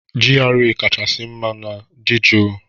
GRA kachasị mma ma dị jụụ